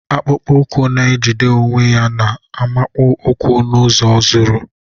Akpụkpọ ụkwụ na-ejide onwe ya na-amakụ ụkwụ n'ụzọ zuru.